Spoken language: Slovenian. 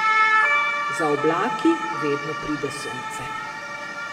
Za oblaki vedno pride sonce.